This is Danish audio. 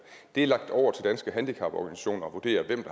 det er lagt over til danske handicaporganisationer at vurdere hvem